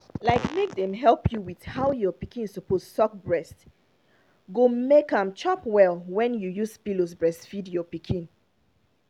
like make dem help you with how your pikin suppose suck breast go make am chop well wen you use pillows breastfeed your pikin